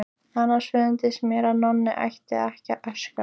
Annars finnst mér að Nonni ætti ekki að öskra.